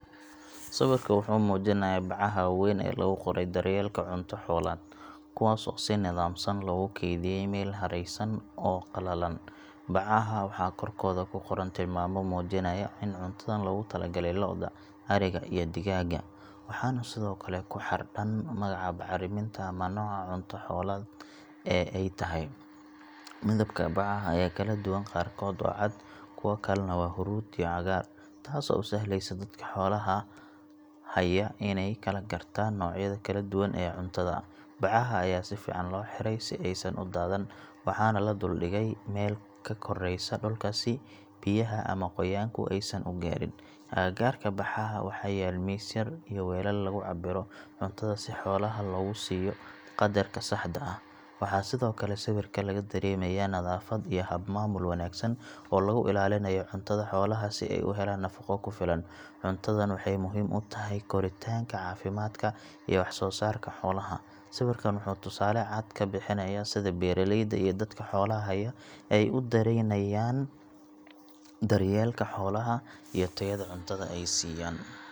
Sawirka wuxuu muujinayaa bacaha waaweyn ee lagu qoray daryeelka cunto xoolaad, kuwaas oo si nidaamsan loogu keydiyay meel haraysan oo qalalan. Bacaha waxaa korkooda ku qoran tilmaamo muujinaya in cuntadan loogu talagalay lo’da, ariga, iyo digaagga, waxaana sidoo kale ku xardhan magaca bacriminta ama nooca cunto xoolaad ee ay tahay. Midabka bacaha ayaa kala duwan, qaarkood waa cad, kuwo kalena waa huruud iyo cagaar, taasoo u sahlaysa dadka xoolaha haya inay kala gartaan noocyada kala duwan ee cuntada. Bacaha ayaa si fiican loo xiray si aysan u daadan, waxaana la dul dhigay meel ka koraysa dhulka si biyaha ama qoyaanku aysan u gaarin. Agagaarka bacaha waxaa yaal miis yar iyo weelal lagu cabbiro cuntada si xoolaha loogu siiyo qadarka saxda ah. Waxaa sidoo kale sawirka laga dareemayaa nadaafad iyo hab maamul wanaagsan oo lagu ilaalinayo cuntada xoolaha si ay u helaan nafaqo ku filan. Cuntadan waxay muhiim u tahay koritaanka, caafimaadka iyo wax soosaarka xoolaha. Sawirkan wuxuu tusaale cad ka bixinayaa sida beeraleyda iyo dadka xoolaha haya ay u daneynayaan daryeelka xoolaha iyo tayada cuntada ay siiyaan.